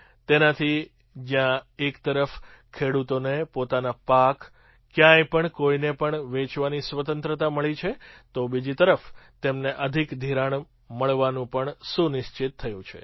તેનાથી જ્યાં એક તરફ ખેડૂતોને પોતાનો પાક ક્યાંય પણ કોઈને પણ વેચવાની સ્વતંત્રતા મળી છે તો બીજી તરફ તેમને અધિક ધિરાણ મળવાનું પણ સુનિશ્ચિત થયું છે